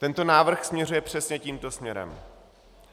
Tento návrh směřuje přesně tímto směrem.